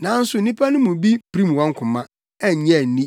Nanso nnipa no mu bi pirim wɔn koma, annye anni,